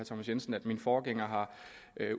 thomas jensen at min forgænger har